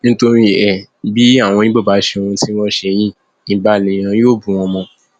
nítorí ẹ bí àwọn ibo bá ṣe ohun tí wọn ṣe yìí ibà lèèyàn yọ bù wọn mọ